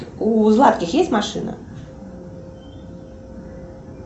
у златкис есть машина